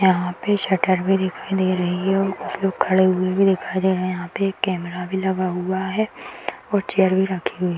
यहाँ पे शटर भी दिखाई दे रही है और कुछ लोग खड़े हुए भी दिखाई दे रहे यहाँ पे एक कैमरा भी लगा हुआ है और चेयर भी रखी हुई --